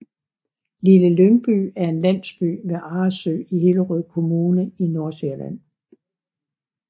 Lille Lyngby er en landsby ved Arresø i Hillerød Kommune i Nordsjælland